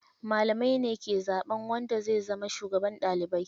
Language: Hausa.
Malamai ne ke zaɓan wanda zai zama shugaban ɗalibai.